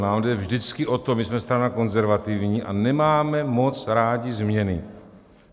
Nám jde vždycky o to, my jsme strana konzervativní a nemáme moc rádi změny.